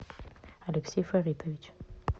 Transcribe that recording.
алексей фаритович